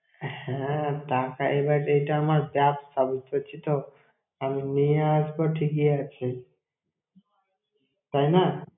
হ্যাঁ, টাকা এবার এটা আমার ব্যবসা, বুঝতে পারছিস তো? আমি নিয়ে আসবো ঠিকই আছে, তাই না!